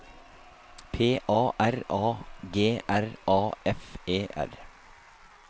P A R A G R A F E R